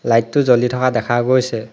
Light টো জ্বলি থকা দেখা গৈছে।